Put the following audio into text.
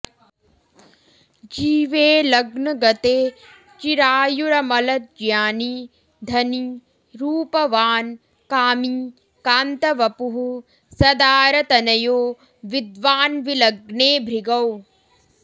जीवे लग्नगते चिरायुरमलज्ञानी धनी रूपवान् कामी कान्तवपुः सदारतनयो विद्वान् विलग्ने भृगौ